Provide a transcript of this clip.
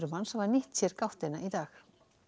manns hafa nýtt sér gáttina í dag